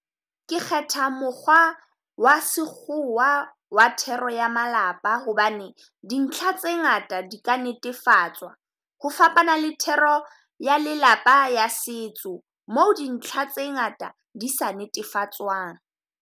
Ke kgetha mokgwa wa sekgowa wa thero ya malapa, hobane dintlha tse ngata di ka netefatswa. Ho fapana le thero ya lelapa ya setso, moo dintlha tse ngata di sa netefatswang.